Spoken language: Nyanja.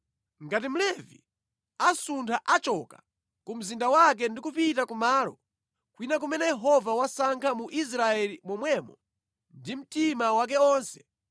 Ngati Mlevi asuntha achoka ku mzinda wake ndi kupita kumalo kwina kumene Yehova wasankha mu Israeli momwemo ndi mtima wake wonse,